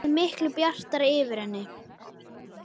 Það yrði miklu bjartara yfir henni.